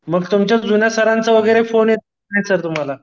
मग तुमच्या जुन्या सरांचा वगैरे फोन येतो का नाही सर तुम्हाला?